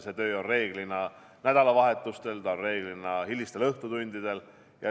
See töö on reeglina nädalavahetustel, see on reeglina hilistel õhtutundidel.